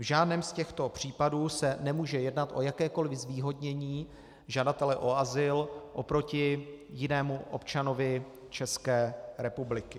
V žádném z těchto případů se nemůže jednat o jakékoli zvýhodnění žadatele o azyl oproti jinému občanovi České republiky.